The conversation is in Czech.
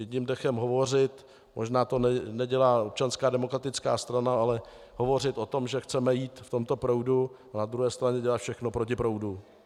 Jedním dechem hovořit, možná to nedělá Občanská demokratická strana, ale hovořit o tom, že chceme jít v tomto proudu, a na druhé straně dělat všechno proti proudu.